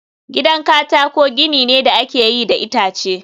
gidan katako gini ne da aka yi da itace